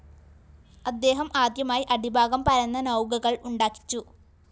അദ്ദേഹം ആദ്യമായി അടിഭാഗം പരന്ന നൗകകള്‍ ഉണ്ടാക്കിച്ചു